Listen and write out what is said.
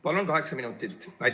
Palun kaheksa minutit!